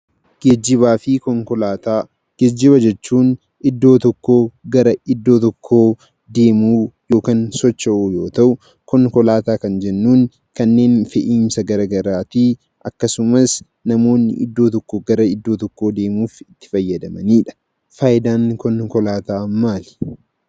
Geejjibaafi konkolaataa; geejjiba jechuun, iddoo tokkoo garaa iddoo tokkoo deemu(soocho'uu) yoo ta'u, konkolaataa Kan jennun, kanneen fe'umsa garagaraafi akkasuma, namoonni iddoo tokkoo garaa iddoo tokkoo deemuuf itti faayyadamaanidha. Faayidaan konkolaataa maali?